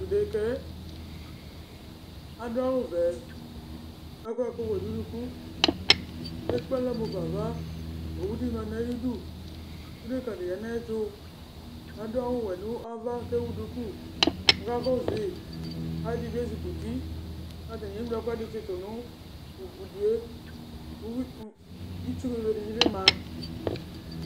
Tʋ dekǝ yɛ adʋ awʋvɛ kʋ akɔ ɛkʋwɛ nʋ unuku kʋ ekple alɔ mu fa ava Owu dɩ ma nʋ ayidu kʋ dekǝnɩ ya nʋ ayɛtʋ kʋ adʋ awʋwɛ nʋ ava kʋ ewu duku kʋ akakɔsʋ yɩ Ɔlɔdɩ bɩ ezikuti kʋ atanɩ eŋlo ɛkʋɛdɩ tsɩtʋ nʋ udu yɛ, uyui, itsu bebenɩ bɩ ma